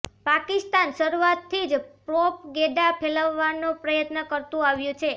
પાકિસ્તાન શરુઆતથી જ પ્રોપગેંડા ફેલાવવાનો પ્રયત્ન કરતું આવ્યું છે